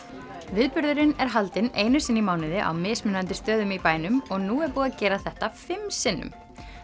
viðburðurinn er haldinn einu sinni í mánuði á mismunandi stöðum í bænum og nú er búið að gera þetta fimm sinnum